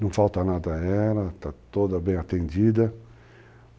Não falta nada a ela, está toda bem atendida.